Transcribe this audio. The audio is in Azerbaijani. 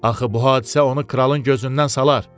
Axı bu hadisə onu kralın gözündən salar.